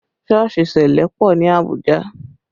Sọ́ọ̀sì ṣẹlẹ pọ ní Abuja